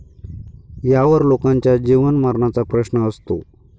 यावर लोकांच्या जीवनमरणाचा प्रश्न असतो.